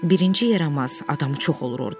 Birinci yaramaz, adamı çox olur orda.